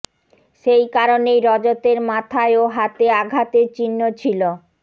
সেই কারণেই রজতের মাথায় ও হাতে আঘাতের চিহ্ন ছিল